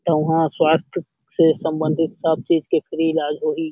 एहु स्वास्थय से सम्बंधित सब चीज के फ्री इलाज होही।